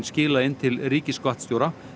skila inn til ríkisskattstjóra